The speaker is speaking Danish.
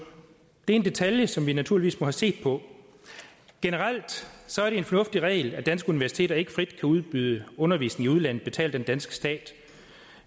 det er en detalje som vi naturligvis må have set på generelt er det en fornuftig regel at danske universiteter ikke frit kan udbyde undervisning i udlandet betalt af den danske stat